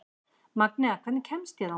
Magnea, hvernig kemst ég þangað?